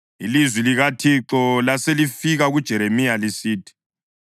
Ilizwi likaThixo laselifika kuJeremiya lisithi,